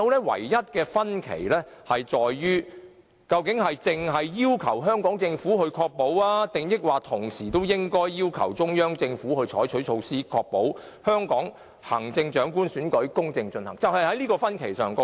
唯一的分歧在於，究竟只要求香港政府，抑或同時應該要求中央政府採取措施，確保香港行政長官選舉公正進行，這是唯一分歧。